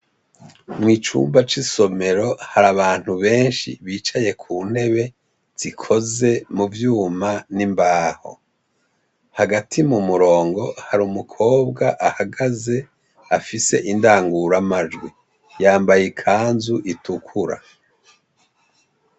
Mucumba c'isomero hari abantu benshi ,bicaye ku ntebe zikoze mu vyuma n'imbaho ,hagati mu murongo hari umukobwa ahagaze afise indangura majwi, yambaye ikanzu itukura.